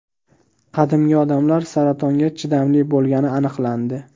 Qadimgi odamlar saratonga chidamli bo‘lgani aniqlandi.